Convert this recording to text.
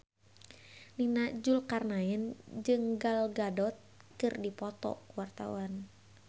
Nia Zulkarnaen jeung Gal Gadot keur dipoto ku wartawan